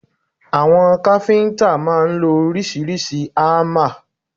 Àwọn káfíntà máà ń lo oríṣiríṣi hámà.